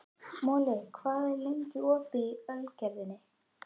Moli, hvað er lengi opið í Ölgerðinni?